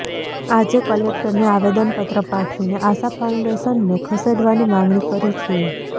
આજે કલેક્ટરને આવેદનપત્ર પાઠવીને આશા ફાઉન્ડેશનને ખસેડવાની માગણી કરી છે